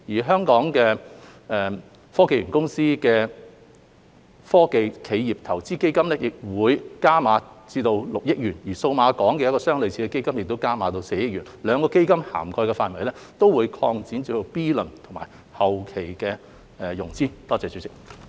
香港科技園公司的"科技企業投資基金"亦會加碼至6億元，而數碼港的一個類似基金則加碼至4億元，兩個基金的涵蓋範圍將擴大至 B 輪及後期的融資。